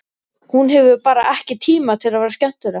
Hún hefur bara ekki tíma til að vera skemmtileg.